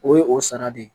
O ye o sara de ye